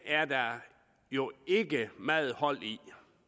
er der jo ikke meget hold i